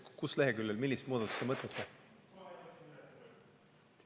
Mis leheküljel, millist muudatust te mõtlete?